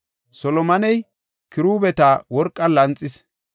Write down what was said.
Solomoney kiruubeta worqan lanxis.